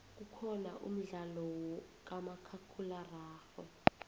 kukhona umdlalo kamakhakhulwa ararhwe